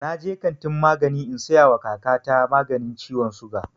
Na je kantin magani in saya wa kaka ta maganin ciwon suga